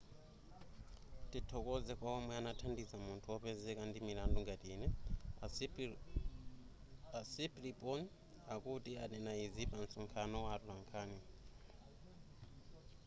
tithokoze kwa omwe anathandiza munthu wopezeka ndi mlandu ngati ine a siriporn akuti ananena izi pa nsonkhano wa atolankhani